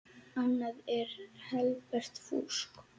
Annað er helbert fúsk.